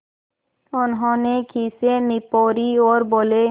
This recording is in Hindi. उन्होंने खीसें निपोरीं और बोले